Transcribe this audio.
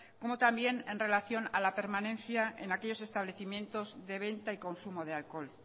como también en relación a la permanencia en aquellos establecimientos de venta y consumo de alcohol